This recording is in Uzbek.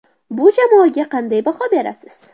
Bu jamoaga qanday baho berasiz ?